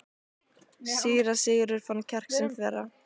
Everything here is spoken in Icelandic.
Síra Sigurður fann kjark sinn þverra.